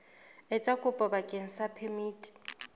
etsa kopo bakeng sa phemiti